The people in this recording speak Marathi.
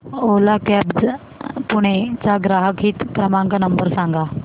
ओला कॅब्झ पुणे चा ग्राहक हित क्रमांक नंबर सांगा